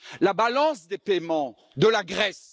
la balance des paiements de la Grèce.